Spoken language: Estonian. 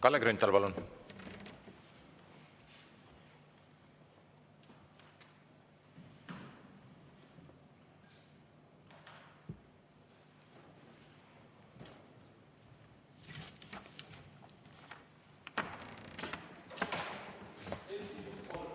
Kalle Grünthal, palun!